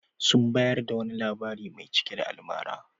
Sun bayar da wani labari mai cike da almara.